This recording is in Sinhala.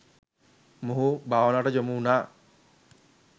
මොහු භාවනාවට යොමු වුණා.